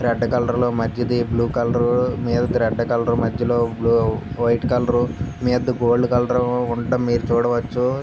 Red colour మధ్యది blue colour . Red colour మధ్యలో white colour . మీదది గోల్డ్ కలర్ ఉండటం మీరు చూడవచ్చు.